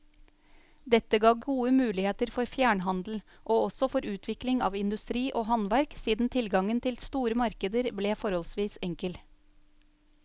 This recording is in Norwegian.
Dette ga gode muligheter for fjernhandel, og også for utvikling av industri og handverk siden tilgangen til store markeder ble forholdsvis enkel.